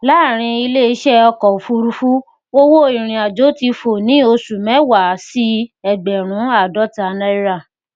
láàárín ilé iṣẹ ọkọ òfurufú owó ìrìnàjò ti fò ní oṣù mẹwàá sí ẹgbẹrún àádọta náírà